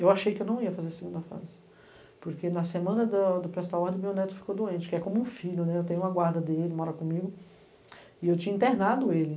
Eu achei que eu não ia fazer a segunda fase, porque na semana do do prestar ordem, meu neto ficou doente, que é como um filho, eu tenho uma guarda dele, mora comigo, e eu tinha internado ele.